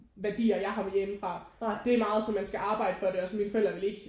Værdier jeg har med hjemmefra det er meget sådan man skal arbejde for det og mine forældre vil ikke